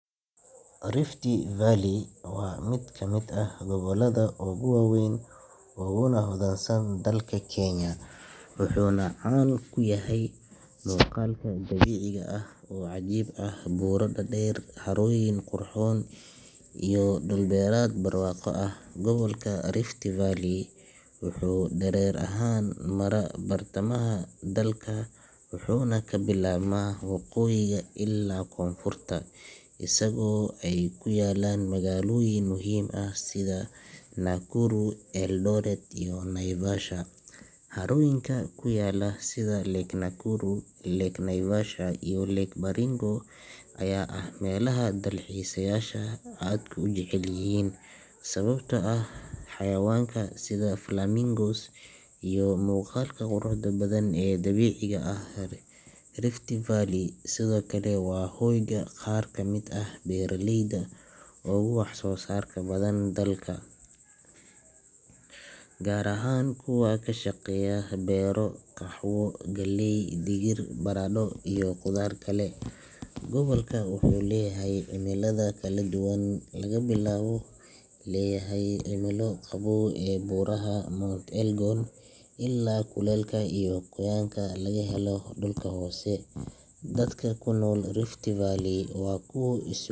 Rift Valley waa mid ka mid ah gobollada ugu waaweyn uguna hodansan dalka Kenya, wuxuuna caan ku yahay muuqaal dabiici ah oo cajiib ah, buuro dhaadheer, harooyin qurxoon iyo dhul beereed barwaaqo ah. Gobolka Rift Valley wuxuu dherer ahaan maraa bartamaha dalka wuxuuna ka bilaabmaa woqooyiga ilaa koonfurta, isagoo ay ku yaalliin magaalooyin muhiim ah sida Nakuru, Eldoret, iyo Naivasha. Harooyinka ku yaalla sida Lake Nakuru, Lake Naivasha, iyo Lake Baringo ayaa ah meelaha dalxiisayaasha aadka u jecel yihiin sababtoo ah xayawaanka sida flamingos iyo muuqaalka quruxda badan ee dabiiciga ah. Rift Valley sidoo kale waa hoyga qaar ka mid ah beeraleyda ugu waxsoosarka badan dalka, gaar ahaan kuwa ka shaqeeya beero qaxwo, galley, digir, baradho iyo khudaar kale. Gobolka wuxuu leeyahay cimilada kala duwan, laga bilaabo cimilo qabow ee buuraha Mount Elgon ilaa kuleylka iyo qoyaanka laga helo dhulka hoose. Dadka ku nool Rift Valley waa kuwo is.